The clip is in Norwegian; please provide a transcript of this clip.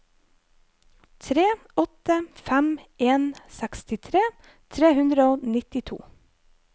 tre åtte fem en sekstitre tre hundre og nittito